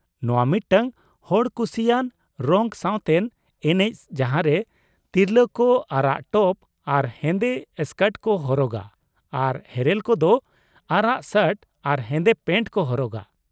ᱱᱚᱶᱟ ᱢᱤᱫᱴᱟᱝ ᱦᱚᱲ ᱠᱩᱥᱤᱭᱟᱱ ᱨᱚᱝᱼᱥᱟᱶᱛᱮᱱ ᱮᱱᱮᱪ ᱡᱟᱦᱟᱸᱨᱮ ᱛᱤᱨᱞᱟᱹ ᱠᱚ ᱟᱨᱟᱜ ᱴᱚᱯ ᱟᱨ ᱦᱮᱸᱫᱮ ᱥᱠᱟᱴ ᱠᱚ ᱦᱚᱨᱚᱜᱟ, ᱟᱨ ᱦᱮᱨᱮᱞ ᱠᱚ ᱫᱚ ᱟᱨᱟᱜ ᱥᱟᱨᱴ ᱟᱨ ᱦᱮᱸᱫᱮ ᱯᱮᱱᱴ ᱠᱚ ᱦᱚᱨᱚᱜᱟ ᱾